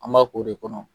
An b'a k'o de kɔnɔ